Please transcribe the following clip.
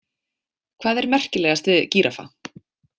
Hvað er merkilegast við gíraffa?